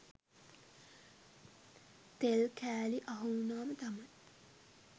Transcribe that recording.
තෙල් කෑලි අහු උනාම තමයි